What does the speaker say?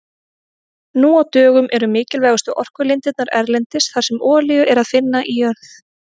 Nú á dögum eru mikilvægustu orkulindirnar erlendis þar sem olíu er að finna í jörð.